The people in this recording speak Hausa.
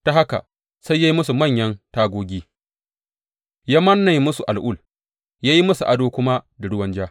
Ta haka sai ya yi musu manyan tagogi ya manne musu al’ul ya yi musu ado kuma da ruwan ja.